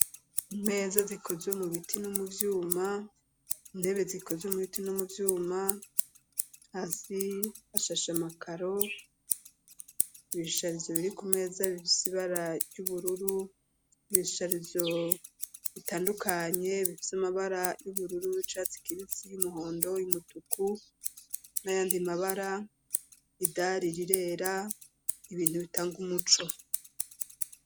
Imeza zikozwe mu biti no mu byuma intebe zikozwe mu biti no mu byuma hasi hashashe makaro ibishisharizo biri ku meza bifise bara yubururu ibishisharizo bitandukanye bifise amabara y'ubururu icatse kibisi y'umuhondo y'umutuku n'ayandi mabara idari rirera ibintu bitanga umuco.